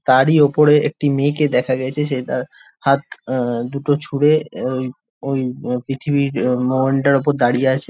তারই ওপরে একটি মেয়েকে দেখা গেছে সে তার হাত অ অ দুটো চুড়ে ঐ ঐ পৃথিবীর মোহনটার উপরে দাঁড়িয়ে আছে।